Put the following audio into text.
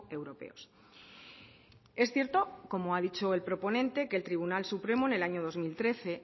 europeos es cierto como ha dicho el proponente que el tribunal supremo en el año dos mil trece